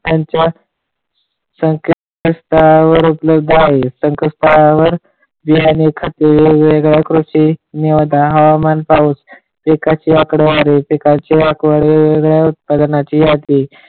यांच्या संकेत स्थळावर उपलब्ध आहे. संकेत स्थळावर बिल आणि खाते वेगवेगळ्या कृषी, हवामान, पाऊस इकडचे वारे तिकडचे वारे उपलब्ध आहे.